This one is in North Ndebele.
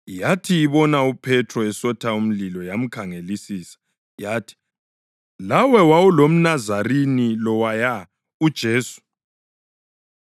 Yathi ibona uPhethro esotha umlilo yamkhangelisisa. Yathi, “Lawe wawulomNazarini lowaya, uJesu.”